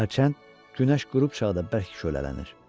Hərçənd günəş qrupçaqda bir az kəş çölənlənir.